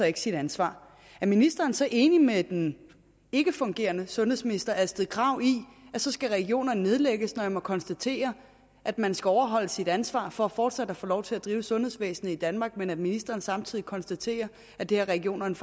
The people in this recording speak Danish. ikke sit ansvar er ministeren så enig med den ikkefungerende sundhedsminister fru astrid krag i at så skal regionerne nedlægges når jeg må konstatere at man skal overholde sit ansvar for fortsat at få lov til at drive et sundhedsvæsen i danmark men at ministeren samtidig konstaterer at det har regionerne